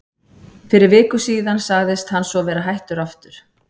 Fyrir viku síðan sagðist hann svo vera hættur aftur.